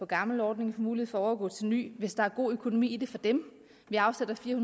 gamle ordning får mulighed for at overgå til den nye hvis der er god økonomi i det for dem vi afsætter fire